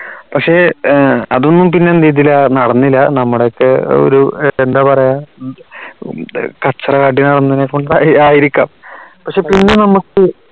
പക്ഷേ ഏർ അതൊന്നും പിന്നെ എന്തെയ്തില്ല നടന്നില്ല നമ്മുടെയൊക്കെ ഒരു എന്താ പറയാൻ ഉം കച്ചറ കാട്ടി നടന്നേനെ കൊണ്ട് ആ ആയിരിക്കാം പക്ഷേ പിന്നെ നമുക്ക്